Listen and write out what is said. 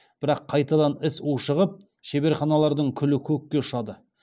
бірақ қайтадан іс ушығып шеберханалардың күлі көкке ұшады